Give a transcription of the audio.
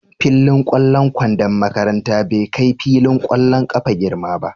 Fillin ƙwallon kwandon makaranta bai kai filin ƙwallon ƙafa girma ba.